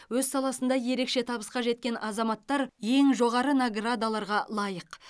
өз саласында ерекше табысқа жеткен азаматтар ең жоғары наградаларға лайық